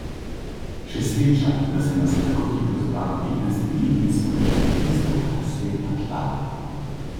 Še sreča, da se nas je tako hitro zbralo petnajst ljudi in smo rešili tisto, kar se je pač dalo.